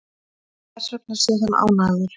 Og þessvegna sé hann ánægður